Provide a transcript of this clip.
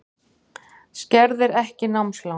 Skerðir ekki námslán